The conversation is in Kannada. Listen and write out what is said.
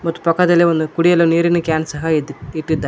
ಮತ್ ಪಕ್ಕದಲ್ಲಿ ಒಂದು ಕುಡಿಯಲು ನೀರಿನ ಕ್ಯಾನ್ ಸಹ ಇದೆ ಇಟ್ಟಿದ್ದಾರ್--